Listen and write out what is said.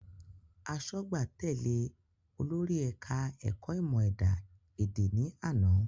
Asọ́gbà tèlé olórí ẹ̀ka ẹ̀kọ́ ìmò ẹ̀dá ẹ̀dẹ̀ ní àná